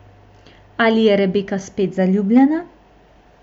Ali je Rebeka spet zaljubljena?